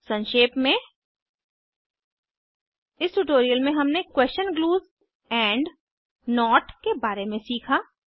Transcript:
संक्षेप में इस ट्यूटोरियल में हमने क्वेशन ग्लूज़ एंड नोट के बारे में सीखा